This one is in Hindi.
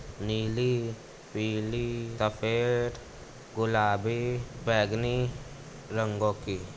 नीली पीली सफ़ेद गुलाबी बेगनी रंगों की --